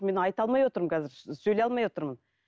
мен айта алмай отырмын қазір сөйлей алмай отырмын